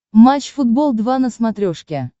матч футбол два на смотрешке